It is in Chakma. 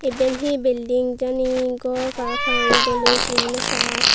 eben he bilding jane gor para pang dolli sin no pai.